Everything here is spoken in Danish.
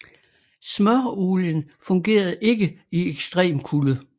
Smøreolien fungerede ikke i ekstrem kulde